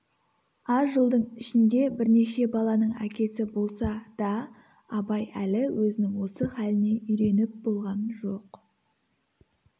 аз жылдың ішінде бірнеше баланың әкесі болса да абай әлі өзінің осы халіне үйреніп болған жоқ